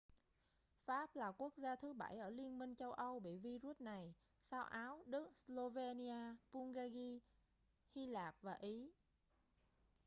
pháp là quốc gia thứ bảy ở liên minh châu âu bị vi-rút này sau áo đức slovenia bungary hy lạp và ý